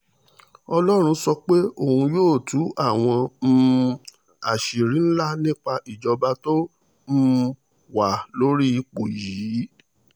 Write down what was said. ọlọ́run sọ pé òun yóò tú àwọn um àṣírí ńlá nípa ìjọba tó um wà lórí ipò yìí